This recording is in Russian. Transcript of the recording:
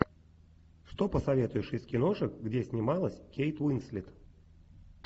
что посоветуешь из киношек где снималась кейт уинслет